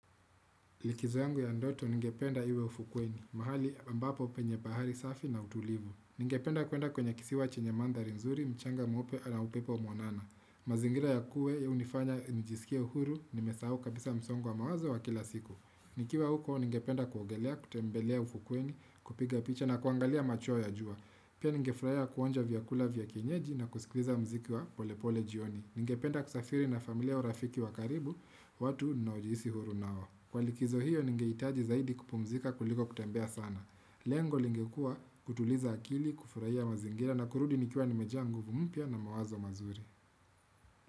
Likizo yangu ya ndoto ningependa iwe ufukweni, mahali ambapo penye bahari safi na utulivu. Ningependa kuenda kwenye kisiwa chenye mandhari nzuri, mchanga mweupe na upepo monana. Mazingira ya kuwe ya unifanya njisikia uhuru ni mesau kabisa msongwa mawazo wa kila siku. Nikiwa huko ningependa kuogelea, kutembelea ufukweni, kupiga picha na kuangalia macho ya jua. Pia ninge furahi kuonja vyakula vyakinyeji na kusikliza mziki wa pole pole jioni. Ningependa kusafiri na familia urafiki wa karibu, watu na ujiisi huru na wa. Kwa likizo hiyo ningeitaji zaidi kupumzika kuliko kutembea sana. Lengo lingekua kutuliza akili, kufurahia mazingira na kurudi nikua nimejia nguvu mpia na mawazo mazuri.